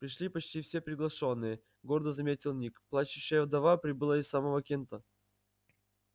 пришли почти все приглашённые гордо заметил ник плачущая вдова прибыла из самого кента